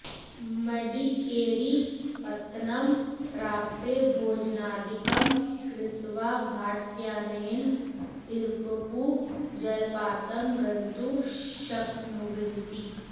मडिकेरीपत्तनं प्राप्य भोजनादिकं कृत्वा भाटकयानेन इरप्पु जलपातं गन्तुं शक्नुवन्ति